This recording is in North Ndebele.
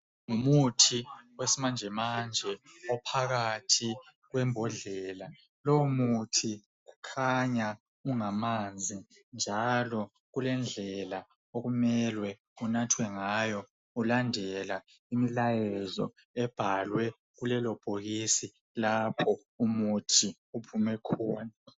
Ngumuthi owesimanjemanje ophakathi kwembodlela. Loyo muthi ukhanya ungamanzi njalo kulendlela okumele unathwe ngayo kulandelwa umlayezo ebhalwe kulelo bhokisi lapho umuthi ophume khona.